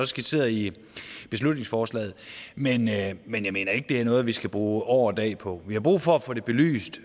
skitseret i beslutningsforslaget men jeg men jeg mener ikke at det er noget vi skal bruge år og dag på vi har brug for at få det belyst